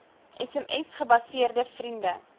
sms gebaseerde vriende